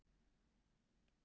Kjói, hvar er dótið mitt?